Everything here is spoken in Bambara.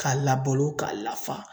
K'a labolo k'a lafa